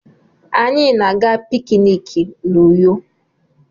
Anyị na-aga pikiniki n'Uyo.